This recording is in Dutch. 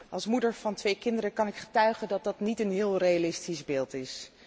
Als moeder van twee kinderen kan ik getuigen dat dat niet een heel realistisch beeld is.